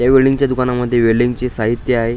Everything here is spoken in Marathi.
या वेल्डिंग च्या दुकानामध्ये वेल्डिंग चे साहित्य आहे.